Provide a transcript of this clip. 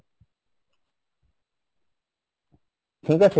ঠিক আছে